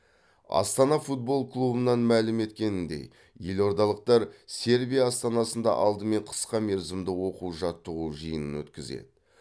астана футбол клубынан мәлім еткеніндей елордалықтар сербия астанасында алдымен қысқа мерзімді оқу жаттығу жиынын өткізеді